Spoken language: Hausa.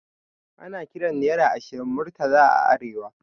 Ana kiran naira ashirin Murtala a arewa